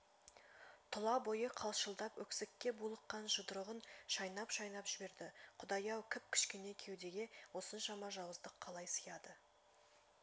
тұла бойы қалшылдап өксікке булыққан жұдырығын шайнап-шайнап жіберді құдай-ау кіп-кішкене кеудеге осыншама жауыздық қалай сияды